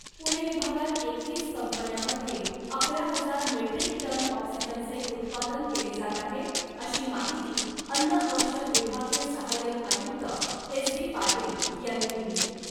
पुणे विभागात एकवीस कंपन्यामध्ये अकरा हजार मेट्रीक टन ऑक्सिजनचे उत्पादन केले जात आहे , अशी माहिती अन्न औषध विभागीय सहायक आयुक्त एस बी पाटील यांनी दिली .